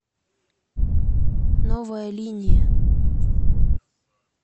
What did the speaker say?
новая линия